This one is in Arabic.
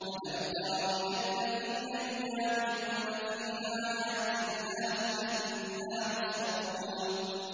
أَلَمْ تَرَ إِلَى الَّذِينَ يُجَادِلُونَ فِي آيَاتِ اللَّهِ أَنَّىٰ يُصْرَفُونَ